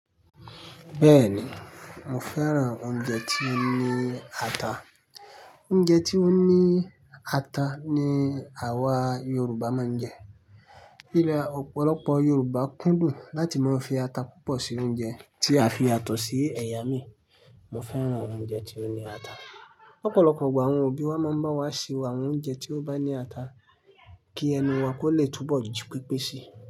Bẹ́ẹ̀ni, mo fẹ́ràn oúnjẹ tí ó ní ata. Oúnjẹ tí ó ní ata ni àwa Yorùbá máa ń jẹ. Kí li a ọ̀pọ̀lọpọ̀ Yorùbá kúndùn láti máa fi ata púpọ̀ sí oúnjẹ tí a fi yàtọ̀ sí ẹ̀yà mii. Mo fẹ́ràn oúnjẹ tí ó ní ata. Ọ̀pọ̀lọpọ̀ igbà àwọn òbí wa máa ń bá wa ṣe àwọn oúnjẹ tí ó bá ní ata kí ẹnu wa kó lè túbọ̀ jí pepé sí.